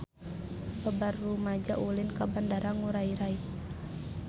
Loba rumaja ulin ka Bandara Ngurai Rai